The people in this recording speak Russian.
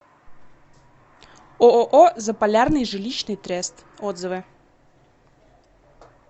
ооо заполярный жилищный трест отзывы